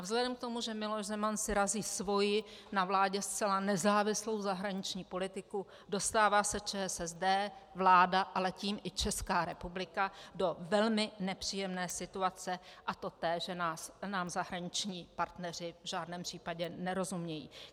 A vzhledem k tomu, že Miloš Zeman si razí svoji na vládě zcela nezávislou zahraniční politiku, dostává se ČSSD, vláda, ale tím i Česká republika do velmi nepříjemné situace, a to té, že nám zahraniční partneři v žádném případě nerozumějí.